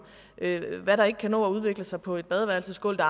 hvad der ikke kan nå at udvikle sig på et badeværelse skåle